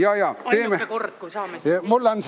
Ainuke kord, kui saame siin seista.